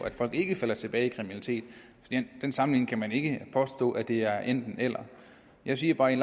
at folk ikke falder tilbage i kriminalitet ved den sammenligning kan man ikke påstå det er enten eller jeg siger bare at i